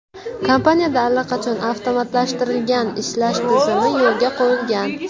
Kompaniyada allaqachon avtomatlashtirilgan ishlash tizimi yo‘lga qo‘yilgan.